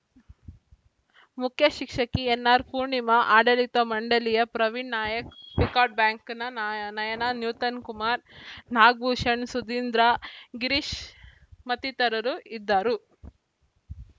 ಮುಖ್ಯಶಿಕ್ಷಕಿ N R Poornima ಆಡಳಿತ ಮಂಡಳಿಯ Praveen Nayak PCARD ಬ್ಯಾಂಕ್‌ನ ನಾಯ್ ನಯನ ನೂತನ್‌ ಕುಮಾರ್‌ ನಾಗಭೂಷಣ್‌ ಸುಧೀಂದ್ರ ಗಿರೀಶ್‌ ಮತ್ತಿತರರು ಇದ್ದರು